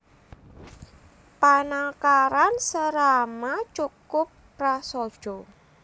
Panangkaran Serama cukup prasaja